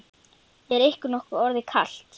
Er ykkur nokkuð orðið kalt?